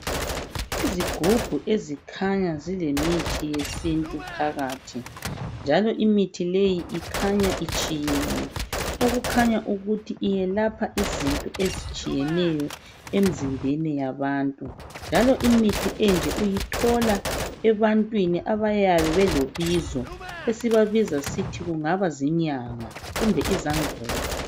Izigubhu ezikhanya zilemithi yesintu phakathi njalo imithi leyi ikhanya itshiyene okukhanya ukuthi iyelapha izinto ezitshiyeneyo emzimbeni yabantu njalo imithi enje uyithola ebantwini abayabe belobizo esibabiza ngokuthi kungaba izinyanga kumbe izangoma